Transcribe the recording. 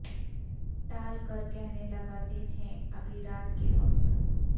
ٹال کر کہنے لگا دن ہے ابھی رات کے وقت